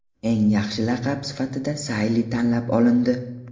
Eng yaxshi laqab sifatida Sayli tanlab olindi.